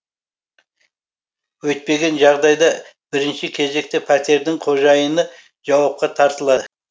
өйтпеген жағдайда бірінші кезекте пәтердің қожайыны жауапқа тартылады